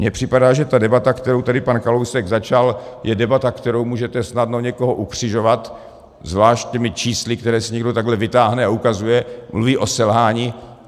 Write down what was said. Mně připadá, že ta debata, kterou tady pan Kalousek začal, je debata, kterou můžete snadno někoho ukřižovat, zvlášť těmi čísly, která si někdo takhle vytáhne a ukazuje, mluví o selhání.